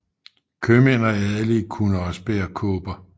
Købmænd og adelige kunne også bære kåber